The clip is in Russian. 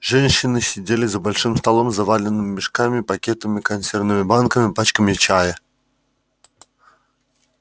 женщины сидели за большим столом заваленным мешками пакетами консервными банками пачками чая